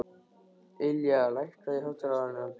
Ylja, lækkaðu í hátalaranum.